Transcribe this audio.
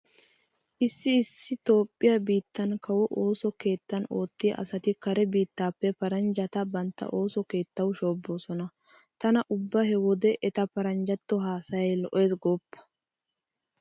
Issi issi toophphiya biittan kawo ooso keettan oottiya asati kare biittappe paranjjata bantta ooso keettawu shoobbosona. Tana ubba he wode eta paranjjatto haasayay lo'ees goopa.